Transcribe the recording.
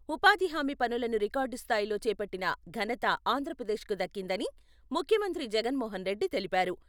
ఉపాధి హామీ పనులను రికార్డు స్థాయిలో చేపట్టిన ఘనత ఆంధ్రప్రదేశ్కు దక్కిందని ముఖ్యమంత్రి జగన్ మోహన్ రెడ్డి తెలిపారు.